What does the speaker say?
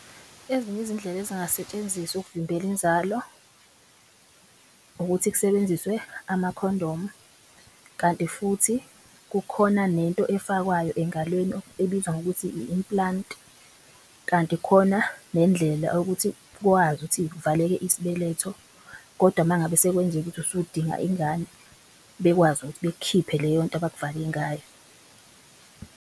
Ezinye izindlela ezingasetshenziswa ukuvimbela inzalo ukuthi kusebenziswe amakhondomu, kanti futhi kukhona nento efakwayo engalweni ebizwa ngokuthi i-implant. Kanti khona nendlela yokuthi ukwazi ukuthi kuvaleke isibeletho kodwa mangabe sekwenzeka ukuthi usudinga ingane bekwazi ukuthi bek'khiphe leyonto abak'vale ngayo.